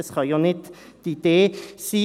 Das kann ja nicht die Idee sein.